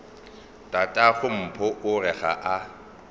tatagompho o re ga a